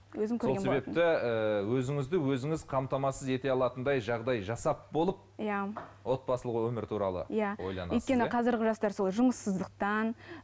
сол себепті ііі өзіңізді өзіңіз қамтамасыз ете алатындай жағдай жасап болып иә отбасылық өмір туралы иә ойланасыз өйткені қазіргі жастар сол жұмыссыздықтан